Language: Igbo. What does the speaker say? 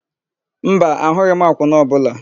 Mba, ahụghị m akwụna ọbụla.